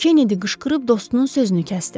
Kenedi qışqırıb dostunun sözünü kəsdi.